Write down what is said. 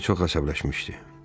Harvi çox əsəbləşmişdi.